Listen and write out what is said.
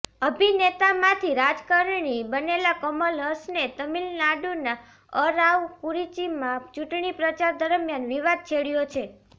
અભિનેતામાંથી રાજકારણી બનેલા કમલ હસને તમિલનાડુના અરાવકુરિચિમાં ચૂંટણી પ્રચાર દરમિયાન વિવાદ છેડ્યો છે